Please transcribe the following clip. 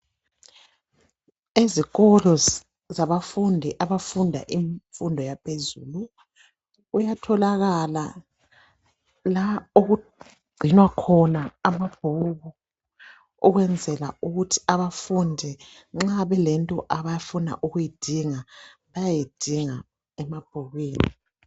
Ezikolo zabafundi abafunda izifundo zaphezulu luyatholakala lapha okungcinwa khona amabhuku okwenzela ukuthi abafundi nxa ukulento abafuna ukuyidinga bayeyidinga emabhukwini